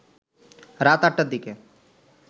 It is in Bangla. রাত ৮টার দিকে